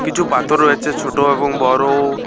কিছু পাতর রয়েছে ছোট এবং বড়।